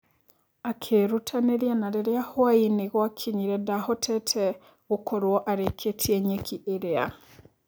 Akĩrutanĩria na rĩrĩa hwaĩinĩ gwakinyire ndahotete gũkorwo arĩkĩtie nyeki ĩrĩa.